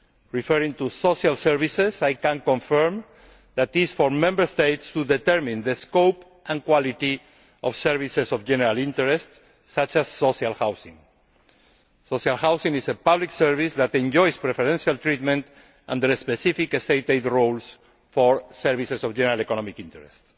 Referring to social services, I can confirm that it is for Member States to determine the scope and quality of services of general interest such as social housing. Social housing is a public service that enjoys preferential treatment under specific state aid rules for services of general economic interest.